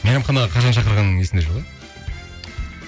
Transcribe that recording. мейрамханаға қашан шақырғаның есіңде жоқ иә